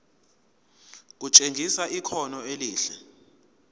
kutshengisa ikhono elihle